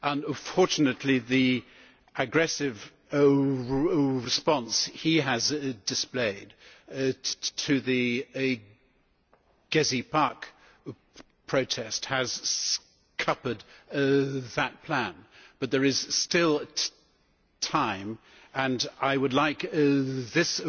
Unfortunately, the aggressive response he has displayed to the Gezi Park protests has scuppered that plan, but there is still time, and I would like this